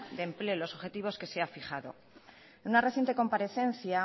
de empleo y los objetivos que se ha fijado en una reciente comparecencia